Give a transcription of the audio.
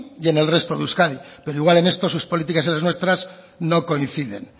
y en el resto de euskadi pero igual en esto sus políticas y las nuestras no coinciden